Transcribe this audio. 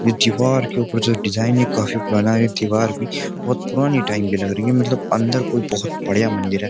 ये दीवार के ऊपर जो डिजाइन है काफी पुराना है। ये दीवार भी बोहोत पुरानी टाइम की लग रही है मतलब अंदर कोई बोहोत बढ़िया मंदिर है।